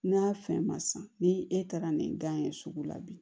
N'a fɛn ma san ni e taara ni gan ye sugu la bi